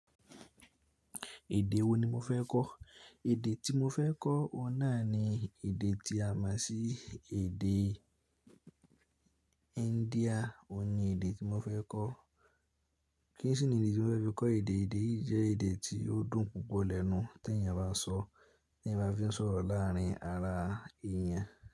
Èdè wo ni mo fẹ́ kọ́? Èdè tí mo fẹ́ kọ́ òun náà ni èdè tí a mọ̀ sí èdè India, òun ni èdè tí mo fẹ́ kọ́. Kí n sì ni ìdí tí mo fẹ́ fi kọ́ èdè yìí, èdè yí jẹ́ èdè tí ó dùn púpọ̀ lẹ́nu tí èèyàn bá n sọó, tí èyàn bá fi n sọ̀rọ̀ láàárín ara èèyàn.